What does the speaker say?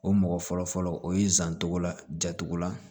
O mɔgɔ fɔlɔfɔlɔ o ye zan tɔgɔla jacogo la